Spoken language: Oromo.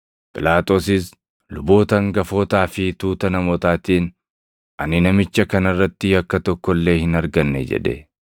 Phiilaaxoosis luboota hangafootaa fi tuuta namootaatiin, “Ani namicha kana irratti yakka tokko illee hin arganne” jedhe.